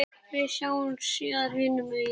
Við sjáumst síðar hinum megin.